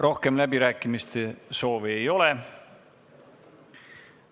Rohkem läbirääkimiste soovi ei ole.